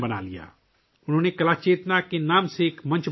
انہوں نے 'کلا چیتنا' کے نام سے ایک پلیٹ فارم بنایا